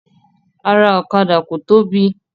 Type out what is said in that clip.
Ara ọ̀kadà ko tóbi.